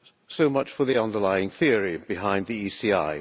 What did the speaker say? So much for the underlying theory behind the ECI